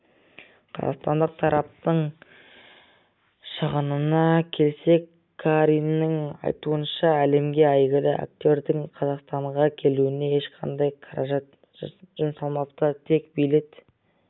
қазақстандық тараптың шығынына келсек қариннің айтуынша әлемге әйгілі актердің қазақстанға келуіне ешқандай қаражат жұмсалмапты тек билет